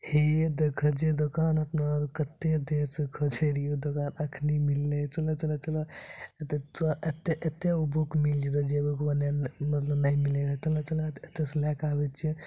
हे देखा जे दोकान अपना आर के कक्ते देर से खोजे रिहे ऊ दोकान अखनी मिलले चला चला चला ऐ एते ओ बुक मिल जेतेे जे बुक औने मतलब ने मिले रहे चला चला चला ओते से लय के आबे छीये ।